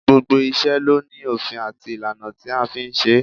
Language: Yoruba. Gbogbo iṣẹ́ ló ní òfin àti ìlànà tí a fi ń ṣe é